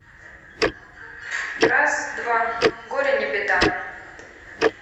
раз два горе не беда